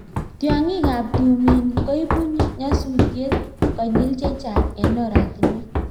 tyongikab tumin koibu nyasusiet konyil chechang eng oratinwek